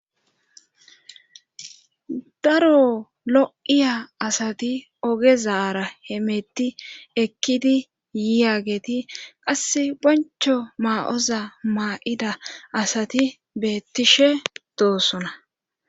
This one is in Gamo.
Daro lo7iya asati ogezaara he meetti ekkidi yiyageti qasse boncho maa7oza maa7ida asati beettishe doosona